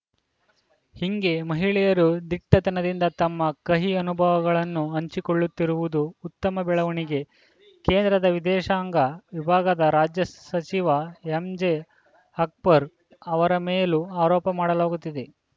ಹಿಂಗೆ ಮಹಿಳೆಯರು ದಿಟ್ಟತನದಿಂದ ತಮ್ಮ ಕಹಿ ಅನುಭವಗಳನ್ನು ಹಂಚಿಕೊಳ್ಳುತ್ತಿರುವುದು ಉತ್ತಮ ಬೆಳವಣಿಗೆ ಕೇಂದ್ರದ ವಿದೇಶಾಂಗ ವಿಭಾಗದ ರಾಜ್ಯ ಸಚಿವ ಎಂಜೆ ಅಕ್ಬರ್‌ ಅವರ ಮೇಲೂ ಆರೋಪ ಮಾಡಲಾಗುತ್ತಿದೆ